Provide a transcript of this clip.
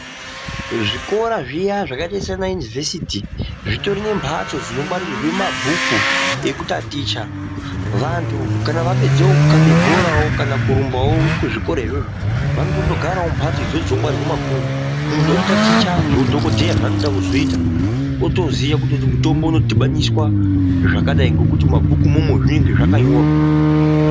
Zvikora zviya zvakaita sana yunuvesuti zvitori nembatso dzinongwarirwe mabhuku ekutaticha vantu kana vapedzawo kukabe bhora kana kurumbawo kuzvikora izvozvo vanotonogarawo mumbatso idzodzo dzinongwarirwe mabhuku ,munhu ototaicha zveudhokodheya zvaanoda kuzoita otoziye kuti mutombo unodhibaniswa zvakadai ngekuti mumabhuku imomo zvinenge zvakanyorwa.